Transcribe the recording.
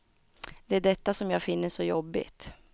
Det är detta som jag finner så jobbigt.